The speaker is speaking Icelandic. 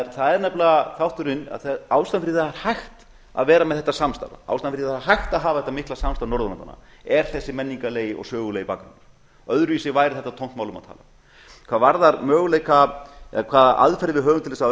er nefnilega þátturinn ástæðan fyrir því að það er hægt að vera með þetta samstarf ástæðan fyrir því að það er hægt að hafa þetta mikla samstarf norðurlandanna er þessi menningarlegi og sögulegi bakgrunnur öðruvísi væri þetta tómt mál um að tala hvað varðar möguleika eða hvaða aðferð við höfum til þess að